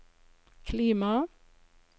klima